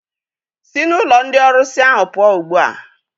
Sị n'ụlọ ndị ọrusi ahụ pụọ ugbu a!